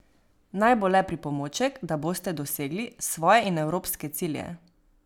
Naj bo le pripomoček, da boste dosegli svoje in evropske cilje.